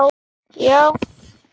Já